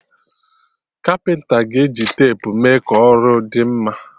Kapịnta ga-eji tepu mee ka ọrụ dị mma